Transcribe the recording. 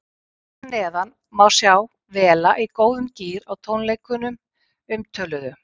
Hér að neðan má sjá Vela í góðum gír á tónleikunum umtöluðu.